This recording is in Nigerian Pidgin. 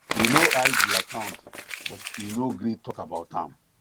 e no hide the accountbut e no gree talk about am